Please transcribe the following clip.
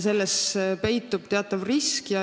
Selles peitub teatav risk.